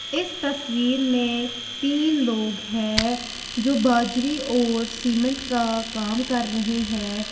इस तस्वीर में तीन लोग हैं जो बजरी और सीमेंट का काम कर रहे हैं।